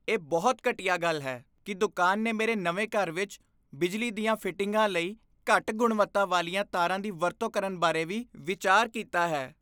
ਇਹ ਬਹੁਤ ਘਟੀਆ ਗੱਲ ਹੈ ਕੀ ਦੁਕਾਨ ਨੇ ਮੇਰੇ ਨਵੇਂ ਘਰ ਵਿੱਚ ਬਿਜਲੀ ਦੀਆਂ ਫਿਟਿੰਗਾਂ ਲਈ ਘੱਟ ਗੁਣਵੱਤਾ ਵਾਲੀਆਂ ਤਾਰਾਂ ਦੀ ਵਰਤੋਂ ਕਰਨ ਬਾਰੇ ਵੀ ਵਿਚਾਰ ਕੀਤਾ ਹੈ